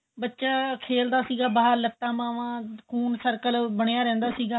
ਬੱਚਾ ਖੇਲਦਾ ਸੀਗਾ ਬਹਾਰ ਲੱਤਾ ਬਾਵਾ ਖੂਨ circle ਬਣਿਆ ਰਹਿੰਦਾ ਸੀਗਾ